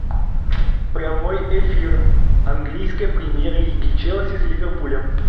прямой эфир английской премьер лиги челси с ливерпулем